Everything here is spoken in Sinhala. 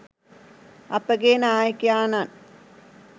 අපගේ නායකයාණන්